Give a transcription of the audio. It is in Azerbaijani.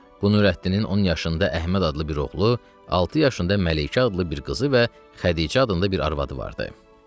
Bu Nurəddinin 10 yaşında Əhməd adlı bir oğlu, altı yaşında Məlikə adlı bir qızı və Xədicə adında bir arvadı vardı.